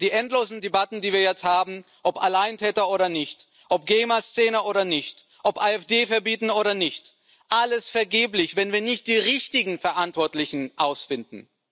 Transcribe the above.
Die endlosen Debatten, die wir jetzt haben ob Alleintäter oder nicht, ob Gamer Szene oder nicht, ob AfD verbieten oder nicht alles vergeblich, wenn wir nicht die richtigen Verantwortlichen finden.